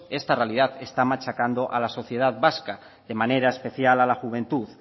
esta realidad está machacando a la sociedad vasca de manera especial a la juventud